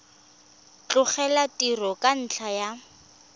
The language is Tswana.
tlogela tiro ka ntlha ya